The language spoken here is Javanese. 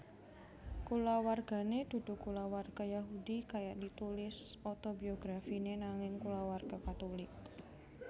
Kulawargané dudu kulawarga Yahudi kaya ditulis otobiografiné nanging kulawarga Katulik